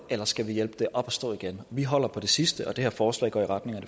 eller skal vi hjælpe det op at stå igen vi holder på det sidste og det her forslag går i retning